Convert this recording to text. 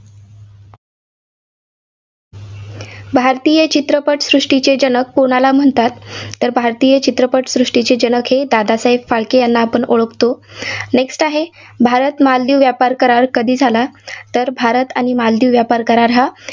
भारतीय चित्रपट सृष्टीचे जनक कोणाला म्हणतात. तर भारतीय चित्रपट सृष्टीचे जनक हे दादासाहेब फाळके यांन आपण ओळखतो. next आहे, भारत मालदीव व्यापार करार कधी झाला? तर भारत आणि मालदीव व्यापार करार हा